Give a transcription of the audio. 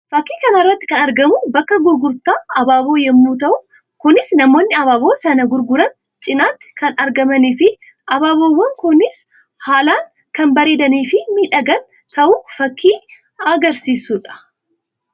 Fakkii kana irratti kan argamu bakka gurgurtaa abaaboo yammuu ta'u; kunis namoonni abaaboo sana gurguran cinatti kan argamanii fi abaaboowwan kunis haalaan kan bareedanii fi miidhagan ta'uu fakkii agarsiisuu dha.